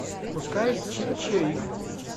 пускай чик чирик